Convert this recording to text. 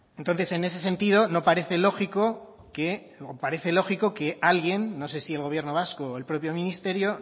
entonces en ese sentido no parece lógico que luego parece lógico que alguien no sé si el gobierno vasco o el propio ministerio